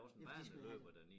Men for de skal jo have